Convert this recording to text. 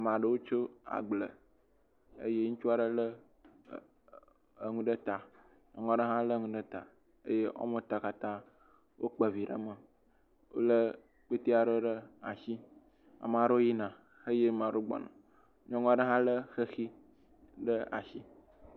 Ame aɖewo tso agble eye ŋutsua ɖe le enu ɖe ta. Nyɔnua ɖe hã le enu ɖe ta eye wo ame etɔ̃ katã wokpe vi ɖe me le kpetɛ aɖe ɖe asi. Ame aɖewo yina eye ame aɖewo gbɔna. Nyɔnua ɖe hã le xexi ɖe asi.